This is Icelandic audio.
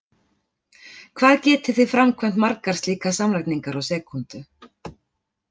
Hvað getið þið framkvæmt margar slíkar samlagningar á sekúndu?!